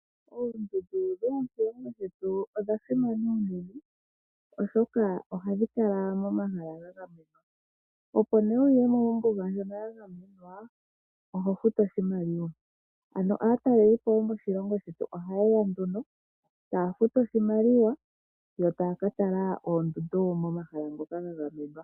Oondundu dhomoshilongo shetu odha simana unene oshoka ohadhi kala momahala ga gamenwa. Opo nee wuye mo mombuga ndjono yagamenwa oho futu oshimaliwa ano aatalelelipo yomoshilongo shetu ohaye ya nduno, taya futu oshimaliwa yo taya ka tala oondundu momahala ngoka ga gamenwa.